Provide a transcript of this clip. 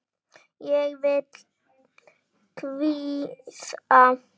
Ég vil hvíta.